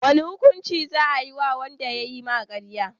wane hukunci za ayi wa wanda yayi karya?